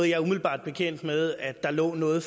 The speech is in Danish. ikke umiddelbart bekendt med at der lå noget